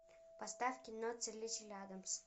поставь кино целитель адамс